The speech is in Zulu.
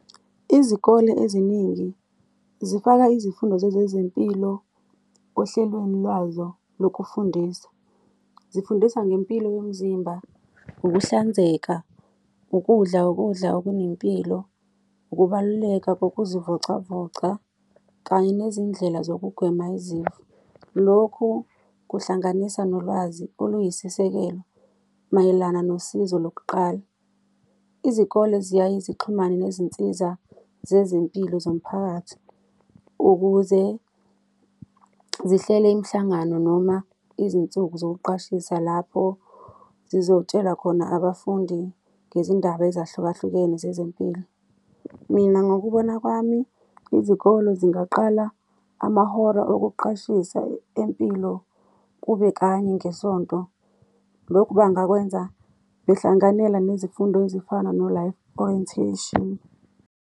Izikole eziningi zifaka izifundo zezempilo ohlelweni lwazo lokufundisa, zifundisa ngempilo yomzimba, ukuhlanzeka, ukudla ukudla okunempilo, ukubaluleka kokuzivocavoca kanye nezindlela zokugwema izifo. Lokhu kuhlanganisa nolwazi oluyisisekelo mayelana nosizo lokuqala. Izikole ziyaye zixhumane nezinsiza zezempilo zomphakathi ukuze zihlele imihlangano noma izinsuku zokuqashisa lapho zizotshela khona abafundi ngezindaba ezahlukahlukene zezempilo. Mina ngokubona kwami, izikole zingaqala amahora okuqashisa empilo kube kanye ngesonto. Lokhu bangakwenza behlanganela nezifundo ezifana no-Life Orientation.